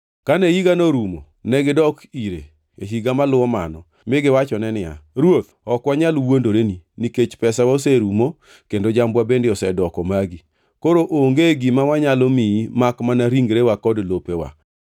Kane higano orumo, negidok ire e higa moluwo mano mi giwachone niya, “Ruoth ok wanyal wuondoreni nikech pesawa oserumo kendo jambwa bende osedoko magi, koro onge gima wanyalo miyi makmana ringrewa kod lopewa.